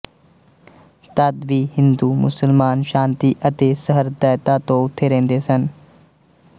ਤਦ ਵੀ ਹਿੰਦੂ ਮੁਸਲਮਾਨ ਸ਼ਾਂਤੀ ਅਤੇ ਸਹ੍ਰਦਇਤਾ ਤੋਂ ਉੱਥੇ ਰਹਿੰਦੇ ਸਨ